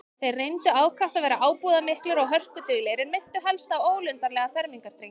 Þeir reyndu ákaft að vera ábúðarmiklir og hörkulegir, en minntu helst á ólundarlega fermingardrengi.